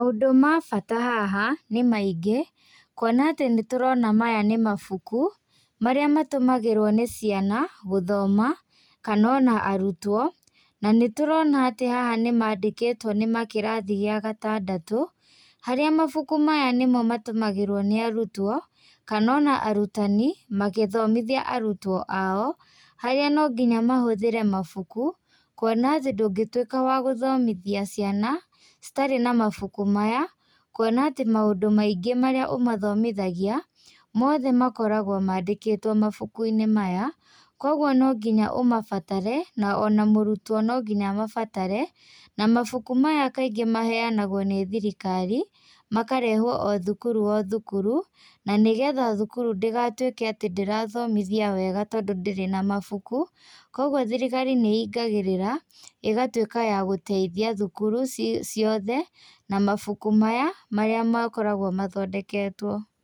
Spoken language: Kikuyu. Maũndũ ma bata haha, nĩ maingĩ, kuona atĩ nĩtũrona maya nĩ mabuku marĩa matũmagĩrwo nĩ ciana gũthoma, kana ona arutwo na nĩtũrona atĩ haha nĩ mandĩkitwo nĩ ma kĩrathi gĩa gatandatũ, harĩa mabuku maya nĩ mo matũmagĩrwo nĩ arũtwo kana o na arutani magĩthomithia arutwo ao, harĩa no ngĩnya mahũthĩre mabuku kuona atĩ ndũngĩtuĩka wa gũthomithia ciana citarĩ na mabuku maya, kuona atĩ maũndũ maingĩ marĩa ũmathomithagia mothe makoragwo mandĩkĩtwo mabuku-inĩ maya, kogwo no nginya ũmabatare o na mũrutwo no nginya amabatare na mabuku maya kaingĩ mahenanagwo nĩ thirikari, makarehwo o thukuru o thukuru na nĩgetha thukuru ndĩgatuĩke atĩ ndĩrathomithia wega tondũ ndĩrĩ na mabuku, kogwo thirikari nĩĩngagĩrĩra ĩgatuĩka ya gũteithia thukuru ciothe na mabuku maya marĩa makoragwo mathondeketwo.